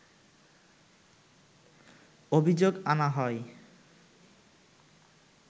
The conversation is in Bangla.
অভিযোগ আনা হয়